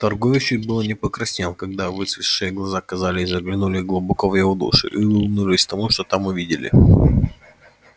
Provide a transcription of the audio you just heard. торгующий было не покраснел когда выцветшие глаза казалось заглянули глубоко в его душу и улыбнулись тому что там увидели